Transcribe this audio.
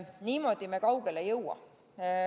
Niimoodi me kaugele ei jõua.